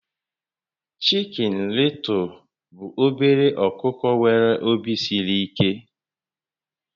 Chikin Lịtụl bụ obere ọkụkọ nwéré òbì siri íké